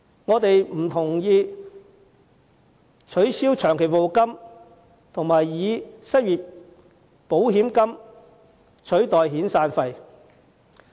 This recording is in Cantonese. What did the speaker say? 我們不同意取消長期服務金並以失業保險金取代遣散費。